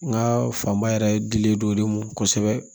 N ka fanba yɛrɛ dilen don o de ma kosɛbɛ